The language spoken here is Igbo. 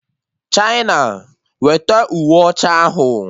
China, wete uwe ọcha ahụ!